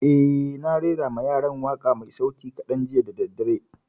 Eh, na rera ma yaran waƙa mai sauti kaɗan jiya da daddare